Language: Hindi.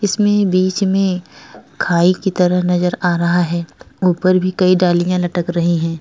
इसमें बीच में खाई की तरह नजर आ रहा है ऊपर भी कई डालियां लटक रही हैं।